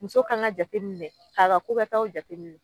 Muso kan ka jate k'a ka ko kɛ taw jate minɛ